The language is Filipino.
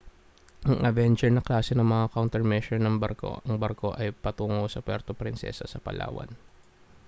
ang avenger na klase ng mga countermeasure ng barko ang barko ay patungo sa puerto prinsesa sa palawan